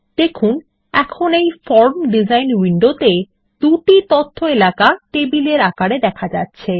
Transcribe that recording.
দেখুন এখন এই ফর্ম ডিসাইন উইন্ডোতে দুটি তথ্য এলাকা টেবিলের আকারে দেখা যাচ্ছে